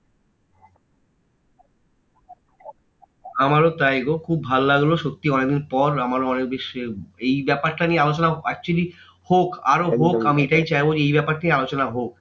আমারো তাই গো খুব ভালো লাগলো সত্যি অনেকদিন পর আমার already এই ব্যাপারটা নিয়ে আলোচনা actually হোক আরও হোক। আমি এটাই চাইবো যে এই ব্যাপারটা নিয়ে আলোচনা হোক